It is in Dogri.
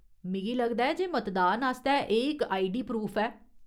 मिगी लगदा ऐ जे मतदान आस्तै एह् इक आईडी प्रूफ ऐ।